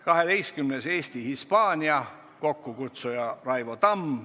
Kaheteistkümnendaks, Eesti-Hispaania, kokkukutsuja on Raivo Tamm.